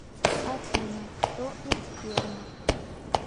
афина кто из пернов